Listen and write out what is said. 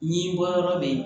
Ɲi bɔyɔrɔ be yen